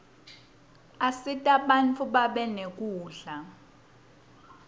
asita bantfu babe nekudla